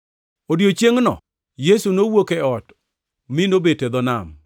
Odiechiengʼno Yesu nowuok e ot mi nobet e dho nam.